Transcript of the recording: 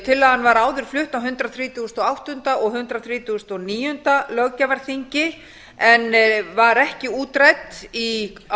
tillagan var áður flutt á hundrað þrítugasta og áttunda löggjafarþingi og hundrað þrítugasta og níunda löggjafarþingi en var ekki útrædd á